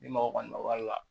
Ni mɔgɔ kɔni ma wari la